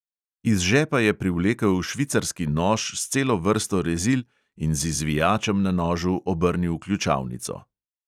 Iz žepa je privlekel švicarski nož s celo vrsto rezil in z izvijačem na nožu obrnil ključavnico.